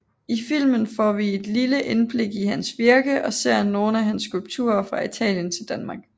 I filmen får vi et lille indblik i hans virke og ser nogle af hans skulpturer fra Italien til Danmark